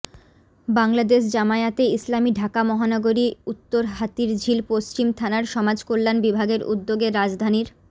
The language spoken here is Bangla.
বাংলাদেশ জামায়াতে ইসলামী ঢাকা মহানগরী উত্তর হাতিরঝিল পশ্চিম থানার সমাজ কল্যাণ বিভাগের উদ্যোগে রাজধানীর